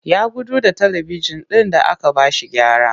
Ya gudu da talibijin ɗin da aka ba shi gyara